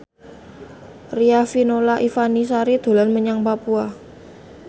Riafinola Ifani Sari dolan menyang Papua